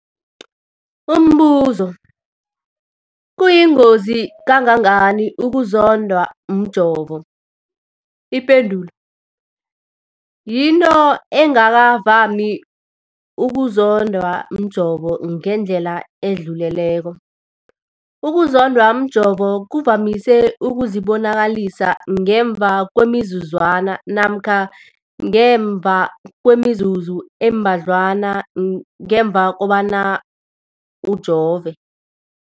Umbuzo, kuyingozi kangangani ukuzondwa mjovo? Ipendulo, yinto engakavami ukuzondwa mjovo ngendlela edluleleko. Ukuzondwa mjovo kuvamise ukuzibonakalisa ngemva kwemizuzwana namkha ngemva kwemizuzu embadlwana ngemva kokujova.